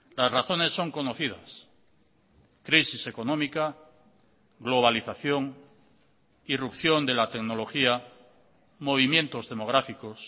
las razones son conocidas crisis económica globalización irrupción de la tecnología movimientos demográficos